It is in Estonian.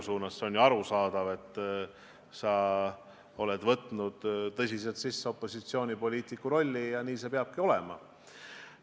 See on ju arusaadav, et sa oled tõsiselt võtnud opositsioonipoliitiku rolli ja nii see peabki olema.